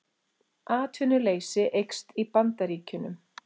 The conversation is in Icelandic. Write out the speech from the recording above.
Atvinnuleysi eykst í Bandaríkjunum